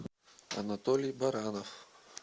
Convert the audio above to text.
анатолий баранов